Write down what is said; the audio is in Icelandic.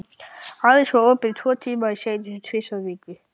Aðeins var opið tvo tíma í senn tvisvar í viku.